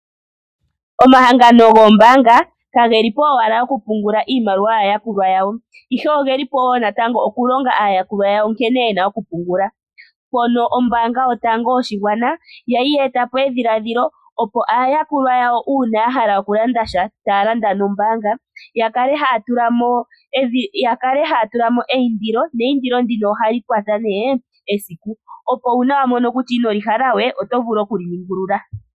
Omahangano goombaga kage lipo owala oku pungula iimaliwa yaakulwa yawo. Ihe ogeli po wo natango longa aayakulwa yawo nkene yena oku pungula. Mpono ombanga yotango yoshigwana yali ye etapo edhiladhili opo aayakulwa yawo ngele ya hala oku landa nombanga ya kale haya tulamo eindilo. Neindilo ndino ohali kwata ne esiku. Op una wa mono kutya ino li hala we oto vulu okuli ningulula.